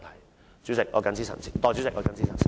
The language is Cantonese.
代理主席，我謹此陳辭。